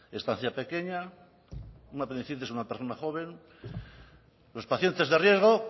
estancia pequeña una apendicitis a una persona joven los pacientes de riesgo